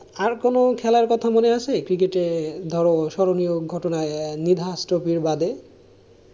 আর কোন খেলার কথা মনে আছে cricket এ ধরো স্মরণীয় ঘটনায় নিধাস ট্রফি বাদে?